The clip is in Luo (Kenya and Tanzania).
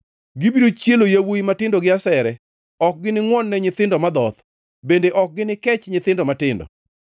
Gibiro chielo yawuowi matindo gi asere; ok giningʼwon-ne nyithindo madhoth, bende ok ginikech nyithindo matindo.